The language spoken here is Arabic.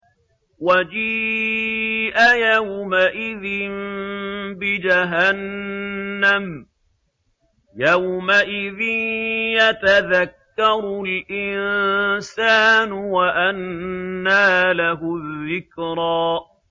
وَجِيءَ يَوْمَئِذٍ بِجَهَنَّمَ ۚ يَوْمَئِذٍ يَتَذَكَّرُ الْإِنسَانُ وَأَنَّىٰ لَهُ الذِّكْرَىٰ